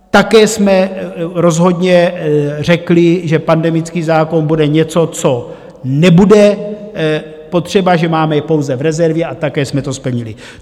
Také jsme rozhodně řekli, že pandemický zákon bude něco, co nebude potřeba, že ho máme pouze v rezervě, a také jsme to splnili.